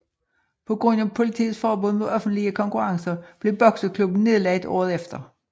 På grund af politiets forbud mod offentlige konkurrencer blev bokseklubben nedlagt året efter